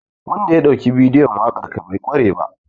Wanda ya ɗauki bidiyon waƙar ka bai ƙware ba.